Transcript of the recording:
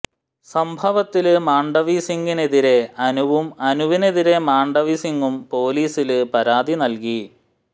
സംഭവത്തില് മാണ്ഡവി സിങ്ങിനെതിരെ അനുവും അനുവിനെതിരെ മാണ്ഡവി സിങ്ങും പോലീസില് പരാതി നല്കി